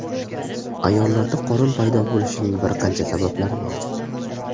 Ayollarda qorin paydo bo‘lishining bir qancha sabablari mavjud.